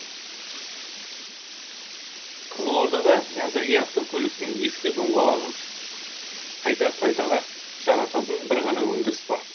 қызылордада әзірге автокөліктің ескі доңғалағын қайта пайдаға жарататын бір ғана өндіріс бар